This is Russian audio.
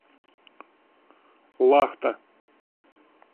лахта